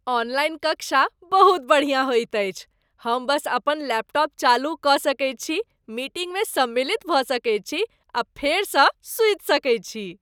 Online कक्षा बहुत बढ़िया होइत अछि। हम बस अपन लैपटॉप चालू कऽ सकैत छी, मीटिंगमे सम्मिलित भऽ सकैत छी आ फेरसँ सूति सकैत छी।